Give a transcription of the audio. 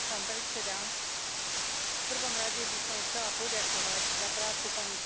V prvom rade by som chcela poďakovať za prácu pani spravodajkyni Picierno.